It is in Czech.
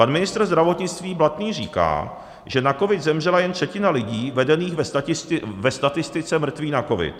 Pan ministr zdravotnictví Blatný říká, že na covid zemřela jen třetina lidí vedených ve statistice mrtvých na covid.